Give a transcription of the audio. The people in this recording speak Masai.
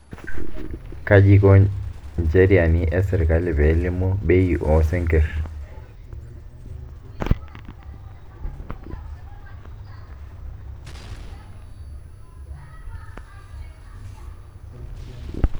Kaji iko incheriaani e sirkali pee elimu bei oo sinkirr?